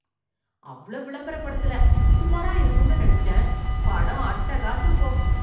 அவ்ளோ விளம்பரப் படுத்தல, சுமாரா இருக்கும்னு நினச்சேன், படம் அட்டகாசம் போ.